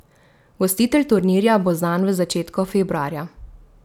Gostitelj turnirja bo znan v začetku februarja.